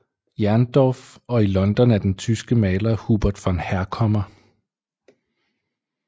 Jerndorff og i London af den tyske maler Hubert von Herkommer